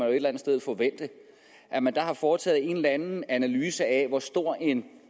et eller andet sted forvente at man har har foretaget en eller anden analyse af hvor stor en